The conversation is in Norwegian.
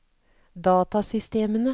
datasystemene